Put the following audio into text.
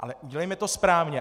Ale udělejme to správně.